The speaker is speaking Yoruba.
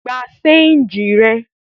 Gba ṣéńjì rẹ!